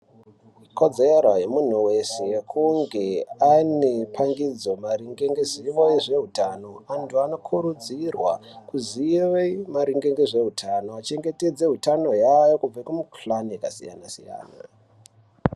Kodzero yemuntu wese kunge ane pangidzo maringe ngezivo yezveutano antu anokurudzirwa kuziye maringe ngezveutano achengetedze utano hwawo kubve kumukhuhlani yakasiyana siyana.